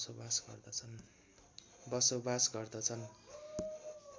बसोवास गर्दछन्